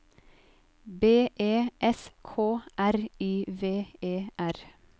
B E S K R I V E R